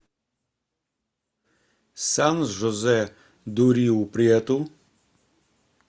сан жозе ду риу прету